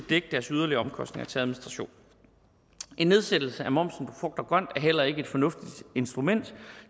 dække deres yderligere omkostninger til administration en nedsættelse af momsen på frugt og grønt er heller ikke et fornuftigt instrument